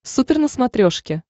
супер на смотрешке